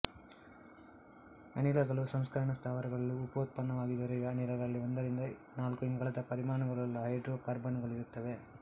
ಅನಿಲಗಳು ಸಂಸ್ಕರಣ ಸ್ಥಾವರಗಳಲ್ಲಿ ಉಪೋತ್ಪನ್ನವಾಗಿ ದೊರೆಯುವ ಅನಿಲಗಳಲ್ಲಿ ಒಂದರಿಂದ ನಾಲ್ಕು ಇಂಗಾಲದ ಪರಿಮಾಣುಗಳುಳ್ಳ ಹೈಡ್ರೊಕಾರ್ಬನ್ನುಗಳಿರುತ್ತವೆ